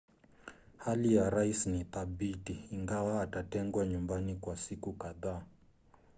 hali ya rais ni thabiti ingawa atatengwa nyumbani kwa siku kadhaa